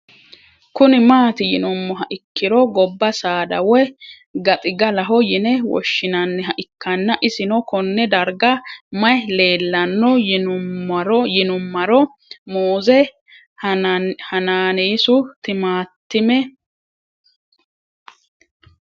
Kuni mati yinumoha ikiro goba saada woyi gaxigalaho yine woshinaniha ikana isino Kone darga mayi leelanno yinumaro muuze hanannisu timantime